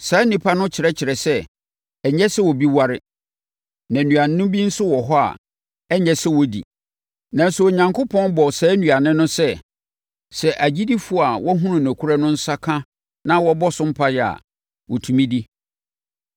Saa nnipa no kyerɛkyerɛ sɛ ɛnyɛ sɛ obi ware na nnuane bi nso wɔ hɔ a, ɛnyɛ sɛ onipa di. Nanso, Onyankopɔn bɔɔ saa nnuane no sɛ, sɛ agyidifoɔ a wɔahunu nokorɛ no nsa ka na wɔbɔ so mpaeɛ a, wɔtumi di.